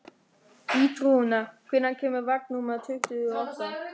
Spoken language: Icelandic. Ýrún, hvenær kemur vagn númer tuttugu og átta?